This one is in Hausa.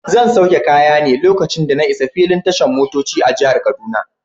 Zan sauke kaya ne lokacin da na isa filin tashan motoci a jihar kaduna.